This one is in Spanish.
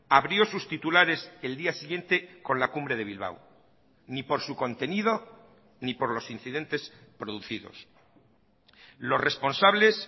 abrió sus titulares el día siguiente con la cumbre de bilbao ni por su contenido ni por los incidentes producidos los responsables